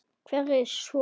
Hverjir svo?